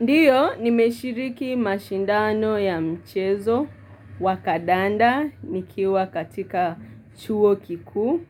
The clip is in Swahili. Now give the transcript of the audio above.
Ndiyo, nimeshiriki mashindano ya mchezo, wakadanda, nikiwa katika chuo kiku,